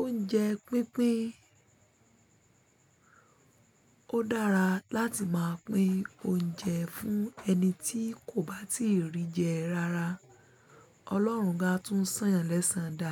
Oúnjẹ pínpín. Ó dára láti máa pín oúnjẹ fún ẹni tí kò bá tíì rí jẹ rárá. Ọlọ́run máa tún sán-án lẹ́sàn-án dáa.